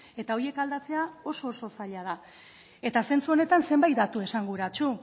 eta horiek aldatzea oso oso zaila da eta zentzu honetan zenbait datu esanguratsu